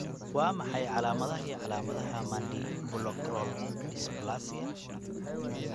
Waa maxay calaamadaha iyo calaamadaha Mandibuloacral dysplasia?